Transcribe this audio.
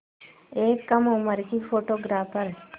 एक कम उम्र की फ़ोटोग्राफ़र